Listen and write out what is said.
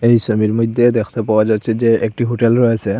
এই সোবির মইধ্যে দেখতে পাওয়া যাচ্ছে যে একটি হোটেল রয়েসে।